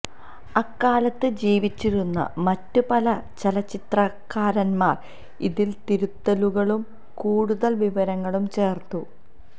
അക്കാലത്ത് ജീവിച്ചിരുന്ന മറ്റ് പല ചരിത്രകാരന്മാരും ഇതിൽ തിരുത്തലുകളും കൂടുതൽ വിവരങ്ങളും ചേർത്തു